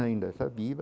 Ainda está viva.